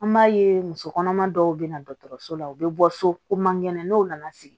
An b'a ye muso kɔnɔma dɔw be na dɔgɔtɔrɔso la u be bɔ so ko man kɛnɛ n'o nana segin